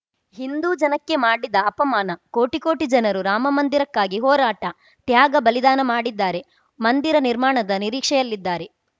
ಹಿಂದೂ ಜನಕ್ಕೆ ಮಾಡಿದ ಅಪಮಾನ ಕೋಟಿ ಕೋಟಿ ಜನರು ರಾಮಮಂದಿರಕ್ಕಾಗಿ ಹೋರಾಟ ತ್ಯಾಗ ಬಲಿದಾನ ಮಾಡಿದ್ದಾರೆ ಮಂದಿರ ನಿರ್ಮಾಣದ ನಿರೀಕ್ಷೆಯಲ್ಲಿದ್ದಾರೆ